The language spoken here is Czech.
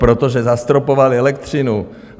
Protože zastropovali elektřinu.